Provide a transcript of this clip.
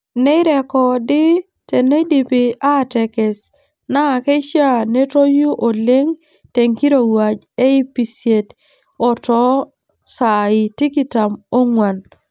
Neirrekodi teneidipi aatekes naa keishaa netoyu oleng te nkirouwaj e ipisiet too saai tikitam oong'wan.